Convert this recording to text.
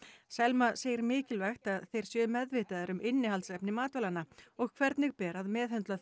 Selma segir mikilvægt að þeir séu meðvitaðir um innihaldsefni matvælanna og hvernig ber að meðhöndla þau